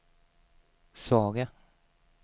svaga